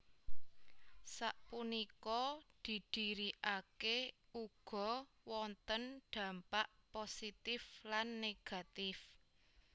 Sapunika didirikake ugo wonten dampak positif lan negativè